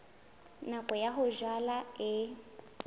nako ya ho jala e